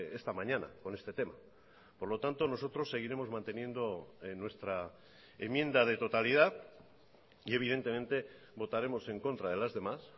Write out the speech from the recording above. esta mañana con este tema por lo tanto nosotros seguiremos manteniendo nuestra enmienda de totalidad y evidentemente votaremos en contra de las demás